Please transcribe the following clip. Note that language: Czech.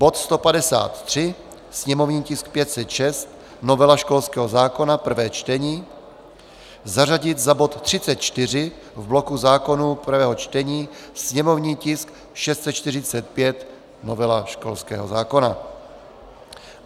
Bod 153, sněmovní tisk 506 - novela školského zákona, prvé čtení, zařadit za bod 34 v bloku zákonů prvého čtení, sněmovní tisk 645 - novela školského zákona.